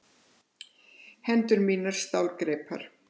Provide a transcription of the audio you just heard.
Hendur mínar stálgreipar.